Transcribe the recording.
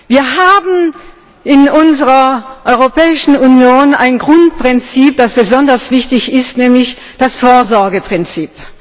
Wir haben in unserer Europäischen Union ein Grundprinzip, das besonders wichtig ist, nämlich das Vorsorgeprinzip.